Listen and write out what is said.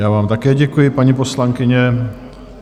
Já vám také děkuji, paní poslankyně.